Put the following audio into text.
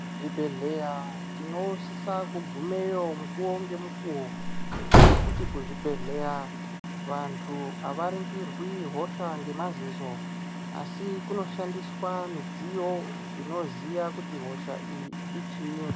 Kuzvibhedhleya tinosisa kugumeyo mukuvo ngemukuvo. Ngekuti kuzvibhedhleya vantu havaringirwi hosha ngemazizo. Asi kunoshandiswa midziyo inoziya kuti hosha iyi ichii.